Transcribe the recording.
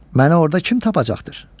Məni orada kim tapacaqdır?